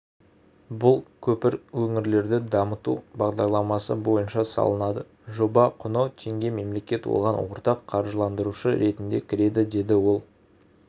бұл көпір өңірлерді дамыту бағдарламасы бойынша салынады жоба құны теңге мемлекет оған ортақ қаржыландырушы ретінде кіреді деді ол